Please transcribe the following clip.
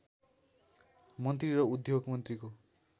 मन्त्री र उद्योग मन्त्रीको